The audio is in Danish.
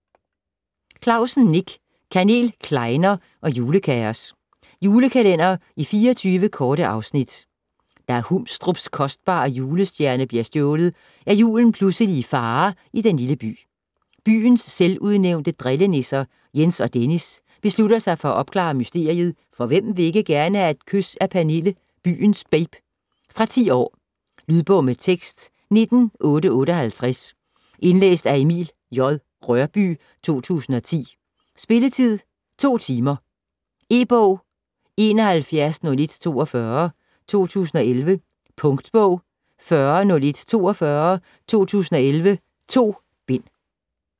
Clausen, Nick: Kanel, klejner og julekaos Julekalender i 24 korte afsnit. Da Humstrups kostbare julestjerne bliver stjålet, er julen pludselig i fare i den lille by. Byens selvudnævnte drillenisser, Jens og Dennis, beslutter sig for at opklare mysteriet, for hvem vil ikke gerne have et kys af Pernille, byens babe. Fra 10 år. Lydbog med tekst 19858 Indlæst af Emil J. Rørbye, 2010. Spilletid: 2 timer, 0 minutter. E-bog 710142 2011. Punktbog 410142 2011.2 bind.